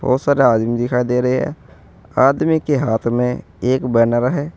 बहुत सारे आदमी दिखाई दे रहे हैं आदमी के हाथ में एक बैनर है।